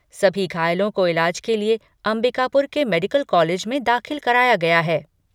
सभी घायलों को इलाज के लिए अंबिकापुर के मेडिकल कॉलेज में दाखिल कराया गया है।